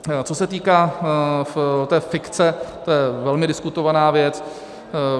Co se týká té fikce, to je velmi diskutovaná věc.